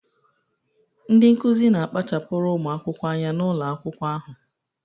Ndị Nkụzi na kpachapuru ụmụ akwụkwọ anya n'ụlọ akwụkwọ ahụ